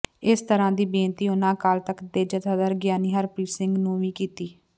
ਇਸੇ ਤਰਾਂ ਦੀ ਬੇਨਤੀ ਉਹਨਾਂ ਅਕਾਲ ਤਖਤ ਦੇ ਜਥੇਦਾਰ ਗਿਆਨੀ ਹਰਪ੍ਰੀਤ ਸਿੰਘ ਨੂੰ ਵੀ ਕੀਤੀ